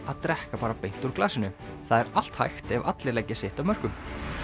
að drekka bara beint úr glasinu það er allt hægt ef allir leggja sitt af mörkum